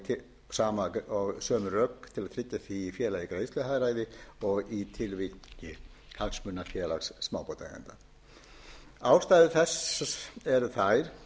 til þess að tryggja því félagi greiðsluhagræði og í tilviki hagsmunafélags smábátaeigenda ástæður þess eru þær er